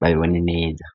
babibone neza.